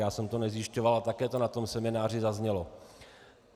Já jsem to nezjišťoval a také to na tom semináři zaznělo.